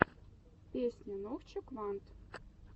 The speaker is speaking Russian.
песня нохчо квант